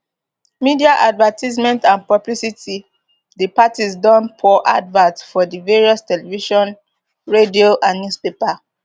media advertisement and publicity di parties don pour adverts for di various television radio and newspapers